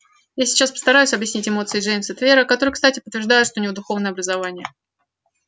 я сейчас постараюсь объяснить эмоции джеймса твера которые кстати подтверждают что у него духовное образование